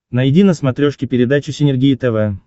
найди на смотрешке передачу синергия тв